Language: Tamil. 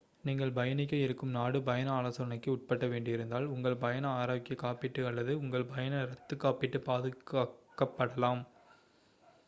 நீங்கள் பயணிக்க இருக்கும் நாடு பயண ஆலோசனைக்கு உட்பட வேண்டியிருந்தால் உங்கள் பயண ஆரோக்கிய காப்பீடு அல்லது உங்கள் பயண ரத்துகாப்பீடு பாதிக்கப்படலாம்